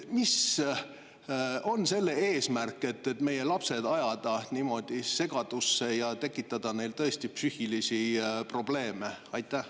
Mis on selle eesmärk, et meie lapsed ajada niimoodi segadusse ja tekitada neile tõesti psüühilisi probleeme?